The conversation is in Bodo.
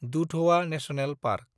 Dudhwa national park